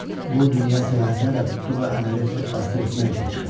Bu dünya səyahətinə də tutduğu əməli ört-basdır etmək üçün çıxıb.